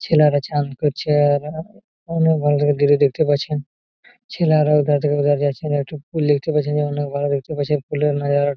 ছেলেরা চান করছেে-এ-এ অনেক দেখতে পাচ্ছেন ছেলেরা ওই ধার থেকে ও ধার যাচ্ছে একটি পুল দেখতে পাচ্ছেন। যে অনেক ভালো দেখতে পাচ্ছেন